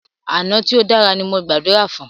Àná tí o dára ní mo gbàdúrà fún.